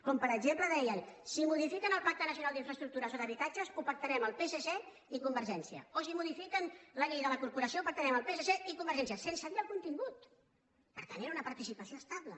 com per exemple deien si modifiquen el pacte nacional per a les infraestructures o per a l’habitatge ho pactarem el psc i convergència o si modifiquen la llei de la corporació ho pactarem el psc i convergència sense dirne el contingut per tant era una participació estable